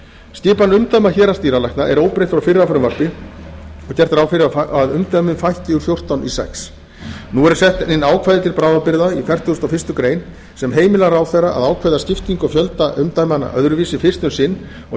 skipan umdæma héraðsdýralækna er óbreytt frá fyrra frumvarpi og er gert ráð fyrir að umdæmum fækki úr fjórtán í sjötta nú eru sett inn ákvæði til bráðabirgða í fertugustu og fyrstu grein sem heimila ráðherra að ákveða skiptingu og fjölda umdæmanna öðruvísi fyrst um sinn og